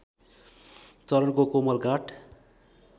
चरणको कोमल गाथ